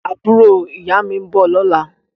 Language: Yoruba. Àbúrò ìyá mi ń bọ̀ lọ́la